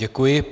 Děkuji.